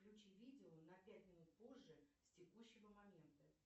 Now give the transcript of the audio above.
включи видео на пять минут позже с текущего момента